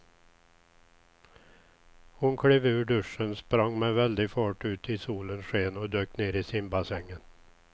Hon klev ur duschen, sprang med väldig fart ut i solens sken och dök ner i simbassängen.